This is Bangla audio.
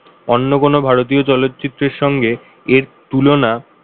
অন্য কোন ভারতীয় চলচ্চিত্রের সঙ্গে এর তুলনা,